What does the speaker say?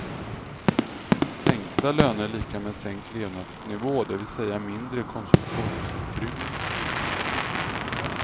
Sänkta löner är lika med sänkt levnadsnivå det vill säga mindre konsumtionsutrymme.